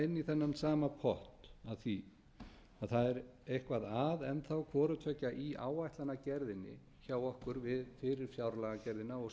þennan sama pott að því að það er eitthvað að enn þá hvorutveggja í áætlunargerðinni hjá okkur fyrir fjárlagagerðina og